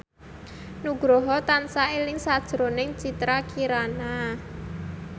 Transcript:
Nugroho tansah eling sakjroning Citra Kirana